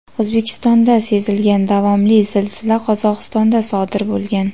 O‘zbekistonda sezilgan davomli zilzila Qozog‘istonda sodir bo‘lgan.